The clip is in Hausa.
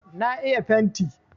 Na iya fenti.